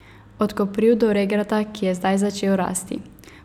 Od kopriv do regrata, ki je zdaj začel rasti.